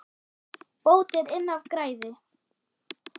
Bót er inn af græði.